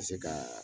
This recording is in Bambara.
Ka se ka